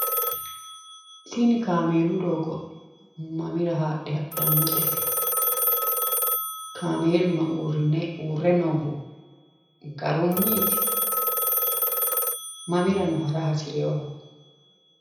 Tini kaameelu doogo mamira haadhe hadhannote? kaameeluno uurre noohu garunniiti? mamirano hara hasireewooho?